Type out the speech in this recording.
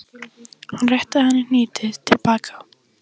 Hann rétti henni hnýtið til baka.